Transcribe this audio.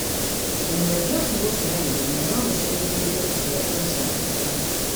Kũnyua njohi gũkĩra gĩthimi no gũcungĩrĩrĩrie kũgĩa puresha ya thakame.